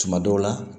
Tuma dɔw la